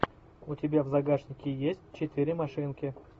у тебя в загашнике есть четыре машинки